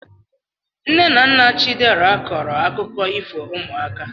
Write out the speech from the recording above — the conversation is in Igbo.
Nne na nna chidera kọọrọ akụkọ ifo ụmụaka